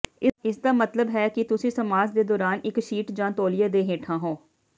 ਇਸਦਾ ਮਤਲਬ ਹੈ ਕਿ ਤੁਸੀਂ ਮਸਾਜ ਦੇ ਦੌਰਾਨ ਇੱਕ ਸ਼ੀਟ ਜਾਂ ਤੌਲੀਏ ਦੇ ਹੇਠਾਂ ਹੋ